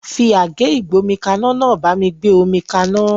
Fi àgé ìgbómikaná náà bá mi gbé omi kaná